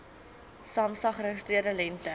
samsa geregistreerde lengte